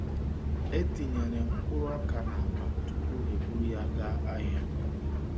E tinyere mkpụrụ ọka n’akpa tupu e buru ya gaa ahịa.